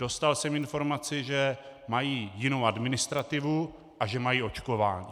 Dostal jsem informaci, že mají jinou administrativu a že mají očkování.